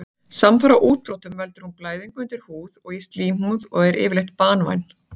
Samfara útbrotum veldur hún blæðingu undir húð og í slímhúð og er yfirleitt banvæn.